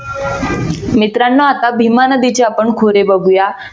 मित्रानो आता भीमा आपण नदीचे खोरे बघूया.